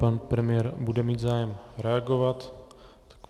Pan premiér bude mít zájem reagovat.